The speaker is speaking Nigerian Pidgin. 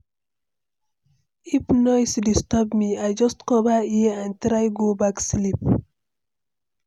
If noise disturb me, I just cover ear and try go back sleep.